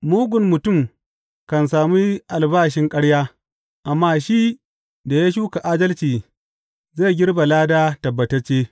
Mugun mutum kan sami albashin ƙarya amma shi da ya shuka adalci zai girbe lada tabbatacce.